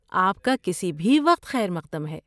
آپ کا کسی بھی وقت خیر مقدم ہے!